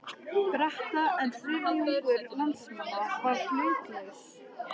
Breta, en þriðjungur landsmanna var hlutlaus.